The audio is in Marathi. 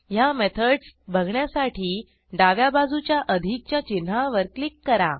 ह्या मेथडस बघण्यासाठी डाव्या बाजूच्या अधिकच्या चिन्हावर क्लिक करा